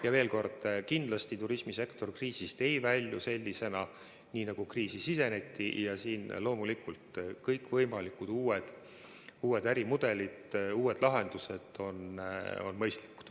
Ja veel kord: kindlasti turismisektor ei välju kriisist sellisena, nagu kriisi siseneti, ja loomulikult on kõikvõimalikud uued ärimudelid, uued lahendused mõistlikud.